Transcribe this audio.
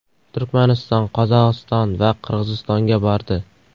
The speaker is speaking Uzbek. Turkmaniston, Qozog‘iston va Qirg‘izistonga bordi.